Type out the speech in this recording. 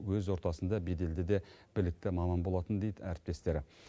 өз ортасында беделді де білікті маман болатын дейді әріптестері